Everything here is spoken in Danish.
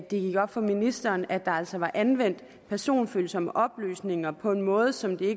det gik op for ministeren at der altså var anvendt personfølsomme oplysninger på en måde som det